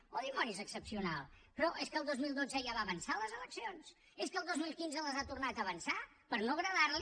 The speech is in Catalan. oh dimonis excepcional però és que el dos mil dotze ja va avançar les eleccions és que el dos mil quinze les ha tornades a avançar per no agradarli